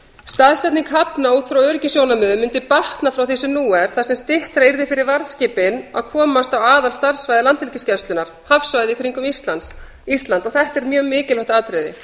staðsetning hafna út frá öryggissjónarmiðum mundi batna frá því sem nú er þar sem styttra yrði fyrir varðskipin að komast út á aðalstarfssvæði landhelgisgæslunnar hafsvæðið í kringum ísland þetta er mjög mikilvægt atriði